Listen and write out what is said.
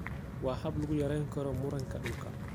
Waa hab lagu yarayn karo muranka dhulka.